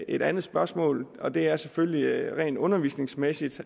et andet spørgsmål og det er selvfølgelig at det rent undervisningsmæssigt